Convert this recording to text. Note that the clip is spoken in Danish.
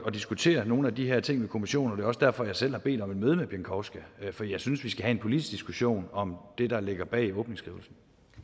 at diskutere nogle af de her ting med kommissionen det er også derfor at jeg selv har bedt om et møde med pieńkowska for jeg synes vi skal have en politisk diskussion om det der ligger bag åbningsskrivelsen